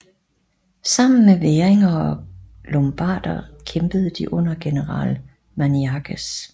Sammen med væringer og lombarder kæmpede de under general Maniakes